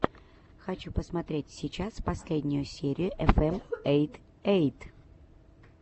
хочу смотреть сейчас последнюю серию эфэм эй эйт